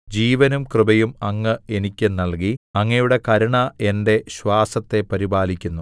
ജീവനും കൃപയും അങ്ങ് എനിയ്ക്ക് നല്കി അങ്ങയുടെ കരുണ എന്റെ ശ്വാസത്തെ പരിപാലിക്കുന്നു